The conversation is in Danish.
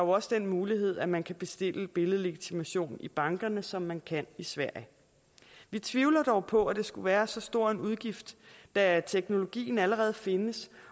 også den mulighed at man kan bestille billedlegitimation i bankerne som man kan i sverige vi tvivler dog på at det skulle være så stor en udgift da teknologien allerede findes